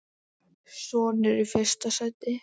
Sonur: Í fyrsta sæti.